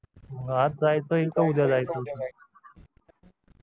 आज जायचंय की उद्या जायचंय